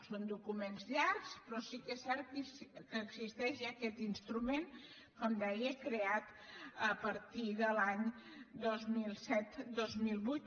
són documents llargs però sí que és cert que existeix ja aquest instrument com deia creat a partir dels anys dos mil set dos mil vuit